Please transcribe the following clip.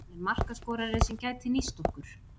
Hann er markaskorari sem gæti nýst okkur.